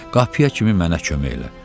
Qapıya kimi mənə kömək elə.